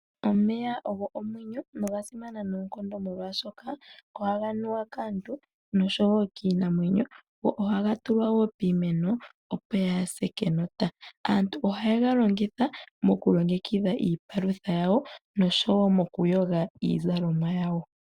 Omeya ogo omwenyo nogasimana noonkondo molwaashoka ohaga nuwa kaantu nosho wo kiinamwenyo, go ohaga tulwa wo piimeno opo yaase kenota. Aantu ohaye galongitha mokulongekidha iipalutha yawo nosho wo mokuyoga iizalomwa yawo.